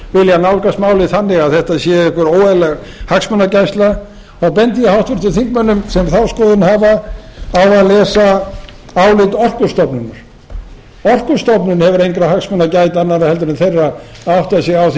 vilja nálgast málið þannig að þetta sé einhver óeðlileg hagsmunagæsla þá bendi ég háttvirtum þingmönnum sem þá skoðun hafa á að lesa álit orkustofnunar orkustofnun hefur engra hagsmuna að gæta annarra heldur en þeirra að átta sig á því